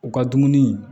U ka dumuni